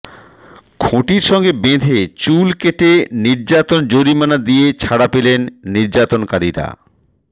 খুঁটির সঙ্গে বেঁধে চুল কেটে নির্যাতন জরিমানা দিয়ে ছাড়া পেলেন নির্যাতনকারীরা